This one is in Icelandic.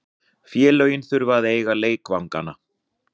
Félögin þurfa að eiga leikvangana.